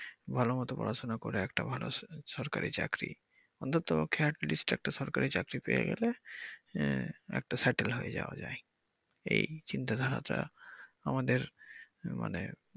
ভালমত পড়াশুনা করে একটা ভালো সরকারি চাকরি অন্তত ক্ষ্যাত list এ একটা সরকারি পেয়ে গেলে আহ একটা settle হয়ে যাওয়া যায় এই চিন্তা ধারাটা আমাদের মানে।